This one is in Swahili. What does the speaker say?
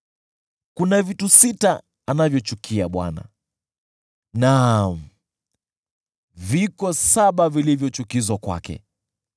Kuna vitu sita anavyovichukia Bwana , naam, viko saba vilivyo chukizo kwake: